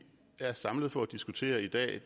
er samlet for at diskutere i dag